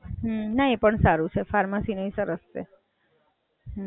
અને ભાઈને પછી એમબીબીએસ કરવાનું છે?